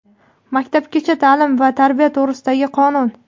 "Maktabgacha taʼlim va tarbiya to‘g‘risida"gi Qonun.